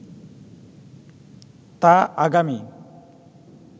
তা আগামী